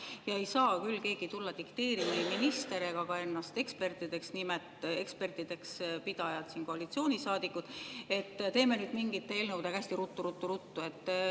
Keegi ei saa küll tulla dikteerima – ei minister ega ka ennast ekspertideks pidavad koalitsioonisaadikud –, et teeme nüüd mingite eelnõudega hästi ruttu-ruttu-ruttu.